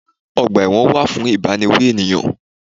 Ọgbà ẹ̀wọ̀n wà fún ìbániwí ènìyàn.